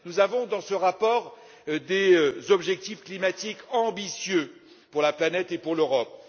Nous avons inscrit dans ce rapport des objectifs climatiques ambitieux pour la planète et pour l'Europe.